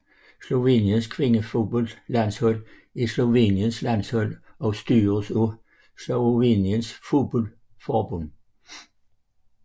Sloveniens kvindefodboldlandshold er Sloveniens landshold og styres af Sloveniens fodboldforbund